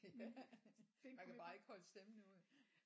Ja man kan bare ikke holde stemmen ud